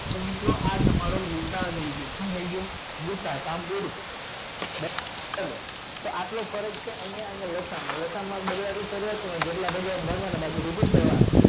તો મિત્રો આ તમારો ગૂસાઅ થઇ ગયો શુ થઇ ગયું ગૂસાઅ આટલો ફરક છે કે લસાઅ માં લસાઅ માં